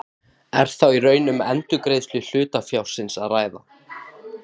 Er þá í raun um endurgreiðslu hlutafjárins að ræða.